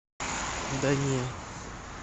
да не